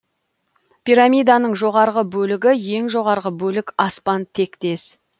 пирамиданың жоғарғы бөлігі ең жоғарғы бөлік аспан тектес